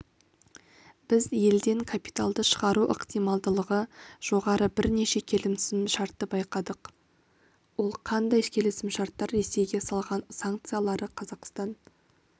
біз елден капиталды шығару ықтималдылығы жоғары бірнеше келісімшартты байқадық ол қандай келісімшарттар ресейге салған санкциялары қазақстан